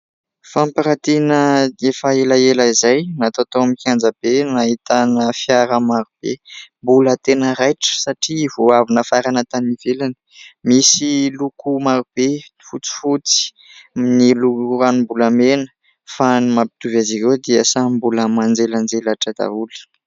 Fampiratiana efa elaela izay natao tao amin'ny kianja be, nahitana fiara maro be mbola tena raitra satria vao avy nafarana tany ivelany. Misy loko marobe : ny fotsifotsy, ny ranom-bolamena fa ny mampitovy azy ireo dia samy mbola manjelanjelatra daholo.